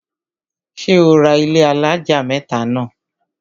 ṣé ó ra ilẹ́ alájà mẹ́tà náà?